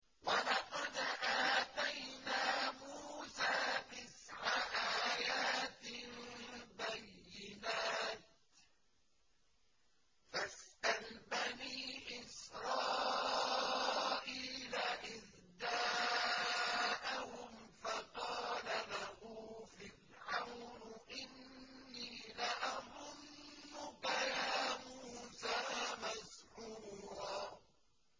وَلَقَدْ آتَيْنَا مُوسَىٰ تِسْعَ آيَاتٍ بَيِّنَاتٍ ۖ فَاسْأَلْ بَنِي إِسْرَائِيلَ إِذْ جَاءَهُمْ فَقَالَ لَهُ فِرْعَوْنُ إِنِّي لَأَظُنُّكَ يَا مُوسَىٰ مَسْحُورًا